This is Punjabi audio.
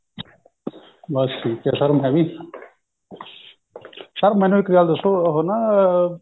ਬਸ ਠੀਕ ਹੈ sir ਮੈਂ ਵੀ sir ਮੈਨੂੰ ਇੱਕ ਗੱਲ ਦਸੋ ਉਹ ਨਾ ਸ਼ਰੀਰ ਹੈਗਾ ਨਾ ਜਿਵੇਂ ਹੈ ਨਹੀਂ ਥਕਿਆ ਥਕਿਆ ਜਾ ਥਕਾਵਟ ਜੀ down ਜਿਹਾ ਰਹਿੰਦਾ ਤੇ ਇਹਦੇ ਬਾਰੇ ਕਰੋ guide ਆਪਾਂ ਕਿ ਕਰ ਸੱਕਦੇ ਹਾਂ